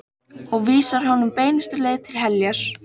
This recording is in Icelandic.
Og vísar honum beinustu leið til heljar.